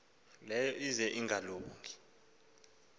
leyo ize ingalungi